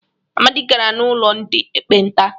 Amadi gara n'ulo ndị ekpenta.